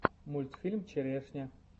мультфильм черешня